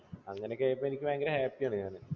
അങ്ങനെയൊക്കെ ആയപ്പോൾ എനിക്ക് ഭയങ്കര happy യാണ് ഞാൻ.